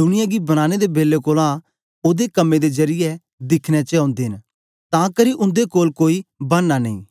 दुनिया गी बनाने दे बेलै कोलां ओदे कम्में दे जरीयै दिखने च ओदे न तां करी उन्दे कोल कोई बहाना नेई